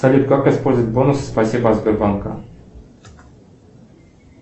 салют как использовать бонус спасибо от сбербанка